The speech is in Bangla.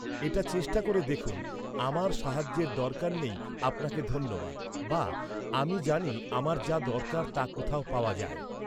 এটা চেষ্টা করে দেখুন, "আমার সাহায্যের দরকার নেই, আপনাকে ধন্যবাদ" বা "আমি জানি আমার যা দরকার তা কোথায় পাওয়া যায়।"